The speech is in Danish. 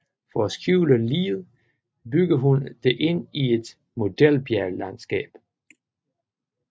For at skjule liget bygger hun det ind i et modelbjerglandskab